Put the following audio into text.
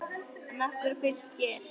En af hverju Fylkir?